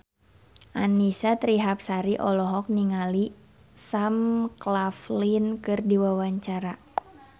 Annisa Trihapsari olohok ningali Sam Claflin keur diwawancara